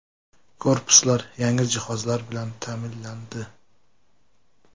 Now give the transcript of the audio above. Korpuslar yangi jihozlar bilan ta’minlandi.